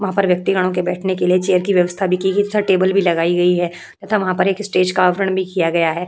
वहाँ पर व्यक्ति गणों के लिए चेयरों की व्यवस्थ भी की गई है तथा टेबल भी लगाई गई है तथा वहाँ पर एक स्टेज का आवरण भी किया गया है।